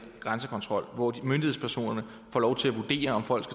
grænsekontrol hvor myndighedspersonerne får lov til at vurdere om folk